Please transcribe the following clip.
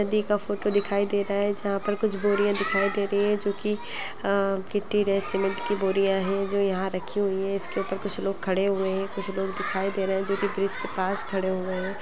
नदी का फोटो दिखाई दे रहा है जहां पर कुछ बोरियाँ दिखाई दे रही है जो कि अ गिट्टी रेत सिमेन्ट की बोरियाँ हैं जो यहाँ रखी हुई हैं। इसके ऊपर कुछ लोग खड़े हुए हैं कुछ लोग दिखाई दे रहे हैं जो कि ब्रिज के पास खड़े हुए हैं।